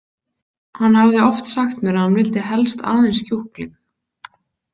Hann hafði oft sagt mér að hann vildi helst aðeins kjúkling.